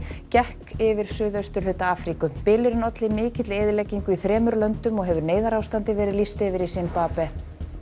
gekk yfir suðausturhluta Afríku bylurinn olli mikilli eyðileggingu í þremur löndum og hefur neyðarástandi verið lýst yfir í Simbabve